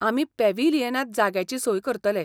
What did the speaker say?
आमी पॅव्हिलियनांत जाग्याची सोय करतले.